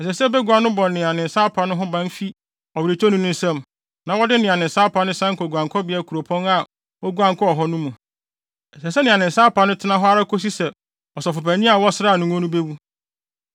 Ɛsɛ sɛ bagua no bɔ nea ne nsa apa no ho ban fi ɔweretɔni no nsam na wɔde nea ne nsa apa no san kɔ guankɔbea kuropɔn a oguan kɔɔ mu no mu. Ɛsɛ sɛ nea ne nsa apa no tena hɔ ara kosi sɛ ɔsɔfopanyin a wɔsraa no ngo bewu.